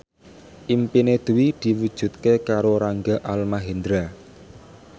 impine Dwi diwujudke karo Rangga Almahendra